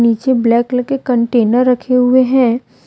पीछे black colour के container रखे हुए हैं।